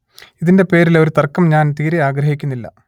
ഇതിന്റെ പേരിൽ ഒരു തർക്കം ഞാൻ തീരെ ആഗ്രഹിക്കുന്നില്ല